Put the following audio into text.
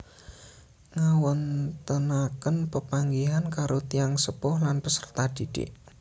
Ngawontenaken pepanggihan karo tiyang sepuh lan peserta didik